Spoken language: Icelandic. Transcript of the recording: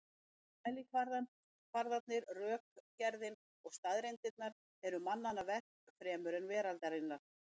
Mælikvarðarnir, rökgerðin og staðreyndirnar eru mannanna verk fremur en veraldarinnar.